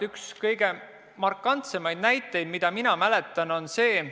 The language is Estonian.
Üks kõige markantsemaid näiteid, mida mina mäletan, on see.